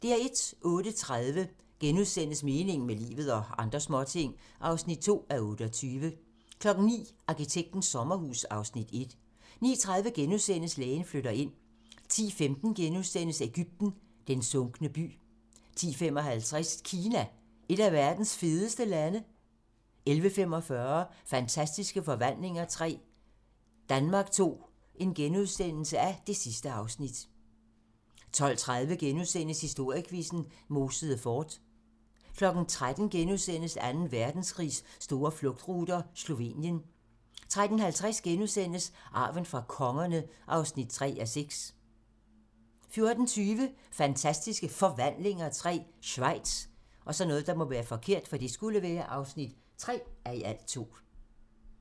08:30: Meningen med livet - og andre småting (2:28)* 09:00: Arkitektens sommerhus (Afs. 1) 09:30: Lægen flytter ind * 10:15: Egypten - den sunkne by * 10:55: Kina - et af verdens fedeste lande 11:45: Fantastiske forvandlinger III - Danmark II (2:2)* 12:30: Historiequizzen: Mosede Fort * 13:00: Anden Verdenskrigs store flugtruter - Slovenien * 13:50: Arven fra kongerne (3:6)* 14:20: Fantastiske Forvandlinger III - Schweiz (3:2)